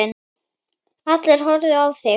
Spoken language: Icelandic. Allir að horfa á þig.